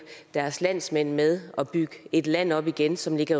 deres landsmænd med at bygge et land op igen som ligger